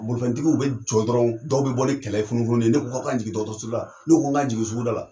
Bolifɛntigiw bɛ jɔ dɔrɔnw, dɔw bɛ bɔ ni kɛlɛ ni funu funu ni ye, ne ko k'a kan jigin dɔgɔtɔrɔrso la, ne ko k'a kan jigin suguda la.